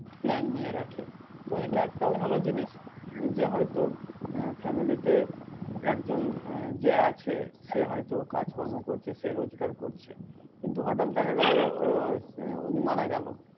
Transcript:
plan নিয়ে রাখে। তো এটা একটাও ভালো জিনিস যে হয়তো আহ family তে একজন আহ যে আছে সে হয়তো কাজকর্ম করতেছে রোজগার করছে। কিন্তু হঠাৎ দেখা গেল আহ উনি মারা গেল।